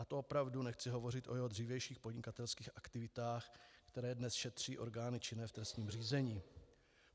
A to opravdu nechci hovořit o jeho dřívějších podnikatelských aktivitách, které dnes šetří orgány činné v trestním řízení.